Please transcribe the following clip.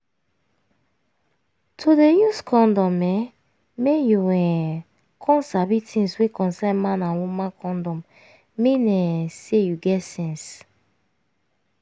to dey use condom eh make you um come sabi tins wey concern man and woman condom mean um say you get sense